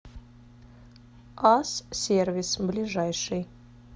ас сервис ближайший